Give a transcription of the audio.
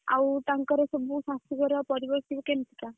ଆଉ ତାଙ୍କର ସବୁ ଶାଶୁଘର ପରିବାର ସବୁ କେମତି କା?